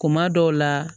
Kuma dɔw la